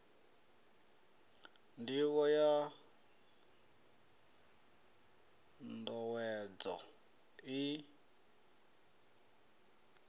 ndivho ya n owedzo iyi